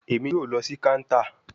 Emi yoo lọ si counter